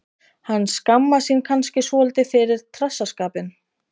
Hann skammast sín kannski svolítið fyrir trassaskapinn.